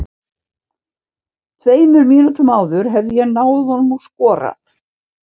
Tveimur mínútum áður hefði ég náð honum og skorað.